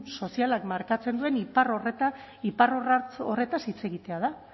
sozialak markatzen duen iparrorratza eta iparrorratz horretaz hitz egitea da